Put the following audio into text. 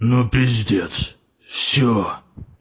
ну пиздец все